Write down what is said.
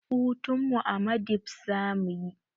Hutunmu a madibs zamuyi